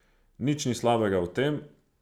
Nič ni slabega v tem.